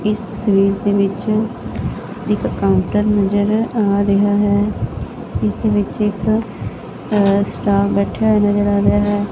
ਇਸ ਤਸਵੀਰ ਦੇ ਵਿੱਚ ਇੱਕ ਕਾਊਂਟਰ ਨਜ਼ਰ ਆ ਰਿਹਾ ਹੈ ਇਸਦੇ ਵਿੱਚ ਇੱਕ ਸਟਾਫ ਬੈਠਿਆ ਹੋਇਆ ਨਜ਼ਰ ਆ ਰਿਹਾ ਹੈ।